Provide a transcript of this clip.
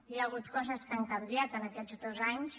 hi ha hagut coses que han canviat en aquests dos anys